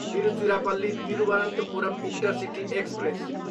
Tiruchirappalli, Thiruvananthapuram intercity express